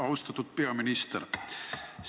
Austatud peaminister!